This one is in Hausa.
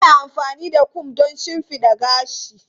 Ana amfani da kom don shimfiɗa gashi.